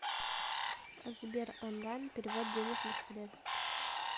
сбер онлайн перевод денежных средств